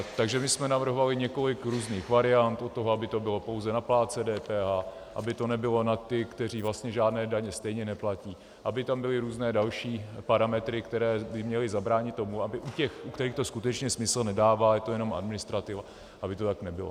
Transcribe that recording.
Takže my jsme navrhovali několik různých variant od toho, aby to bylo pouze na plátce DPH, aby to nebylo na ty, kteří vlastně žádné daně stejně neplatí, aby tam byly různé další parametry, které by měly zabránit tomu, aby u těch, u kterých to skutečně smysl nedává, je to jenom administrativa, aby to tak nebylo.